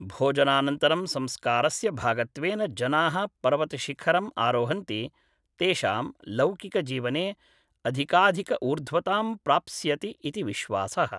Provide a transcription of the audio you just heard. भोजनानन्तरं संस्कारस्य भागत्वेन जनाः पर्वतशिखरम् आरोहन्ति तेषां लौकिकजीवने अधिकाधिकऊर्ध्वतां प्राप्स्यति इति विश्वासः